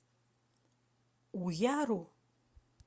уяру